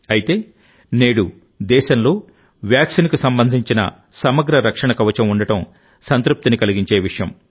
అయితేనేడు దేశంలో వ్యాక్సిన్కు సంబంధించిన సమగ్ర రక్షణ కవచం ఉండటం సంతృప్తిని కలిగించే విషయం